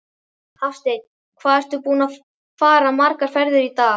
Hafsteinn: Hvað ertu búinn að fara margar ferðir í dag?